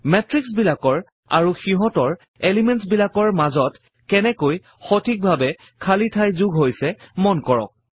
মেত্ৰিক্সবিলাক আৰু সিহঁতৰ এলিমেণ্টছ বিলাকৰ মাজত কেনেকৈ সঠিকভাৱে খালী ঠাই যোগ হৈছে মন কৰক